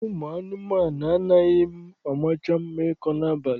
Akụkọ ụmụ mmụọ anaghịcha mma ịkọ n'abalị.